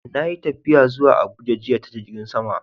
Na yi tafiya zuwa Abuja jiya ta jirgin sama.